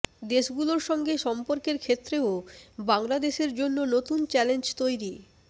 দেশগুলোর সঙ্গে সম্পর্কের ক্ষেত্রেও বাংলাদেশের জন্য নতুন চ্যালেঞ্জ তৈরি